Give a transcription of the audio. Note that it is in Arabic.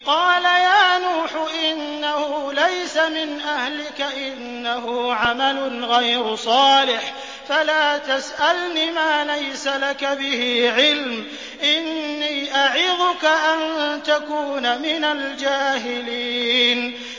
قَالَ يَا نُوحُ إِنَّهُ لَيْسَ مِنْ أَهْلِكَ ۖ إِنَّهُ عَمَلٌ غَيْرُ صَالِحٍ ۖ فَلَا تَسْأَلْنِ مَا لَيْسَ لَكَ بِهِ عِلْمٌ ۖ إِنِّي أَعِظُكَ أَن تَكُونَ مِنَ الْجَاهِلِينَ